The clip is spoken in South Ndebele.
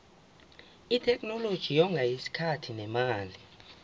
itheknoloji yonga isikhathi nemali